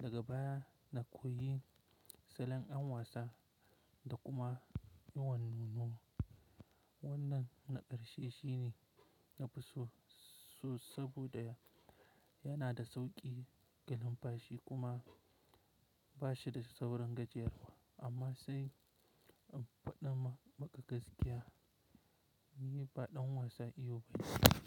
Daga baya na koyi salon an wasa da kuma iyon nono. Wannan na ƙarshe shine na fi so saboda yana da sauƙi ga lambashi kuma ba shi da saurin gajiyarwa amma sai in faɗa ma maƙa gaskiya, ni ba ɗan wasan iyo ba ne.